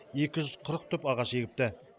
екі жүз қырық түп ағаш егіпті